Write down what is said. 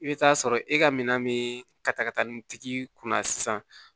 I bɛ taa sɔrɔ e ka minan mi ka taa ka taa nin tigi kunna sisan